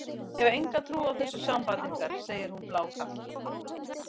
Ég hef enga trú á þessu sambandi ykkar, segir hún blákalt.